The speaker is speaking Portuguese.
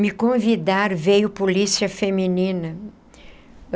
me convidaram, veio polícia feminina.